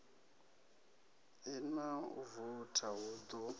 lṅa u voutha hu ḓo